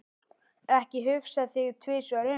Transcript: Ekki hugsa þig tvisvar um.